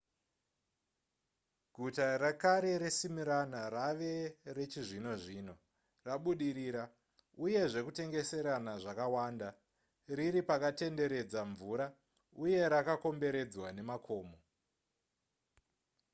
guta rekare resmyrna rave rechizvino zvino rabudirira uye zvekutengeserana zvakawanda riri pakatenderedza mvura uye rakakomberedzwa nemakomo